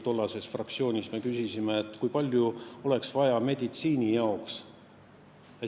Ükskord me küsisime talt, kui palju oleks meditsiinile raha vaja.